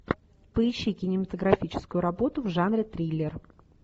поищи кинематографическую работу в жанре триллер